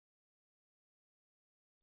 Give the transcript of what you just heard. આ અહીં ઉપર મુકીશું